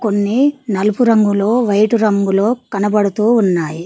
కొన్ని నలుపు రంగులో వైట్ రంగులో కనబడుతూ ఉన్నాయి.